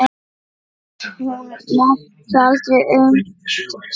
Hún mátti aldrei aumt sjá.